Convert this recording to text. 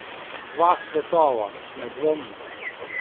Dva svetova, nedvomno.